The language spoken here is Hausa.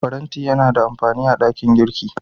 Faranti yana da amafani a ɗakin girki.